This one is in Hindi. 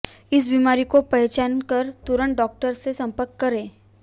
इस बीमारी को पहचान कर तुरंत डॉक्टर से संपर्क करें